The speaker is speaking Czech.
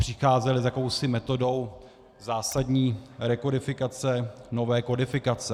Přicházel s jakousi metodou zásadní rekodifikace nové kodifikace.